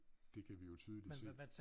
Det kan vi jo tydeligt se